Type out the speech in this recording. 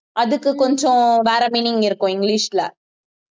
அதுக்கு கொஞ்சம் வேற meaning இருக்கும் இங்கிலிஷ்ல